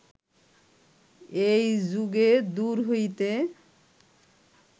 এই যুগে দূর হইতে